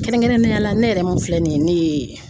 Kɛrɛnkɛrɛnnenya la ne yɛrɛ mun filɛ nin ye ne ye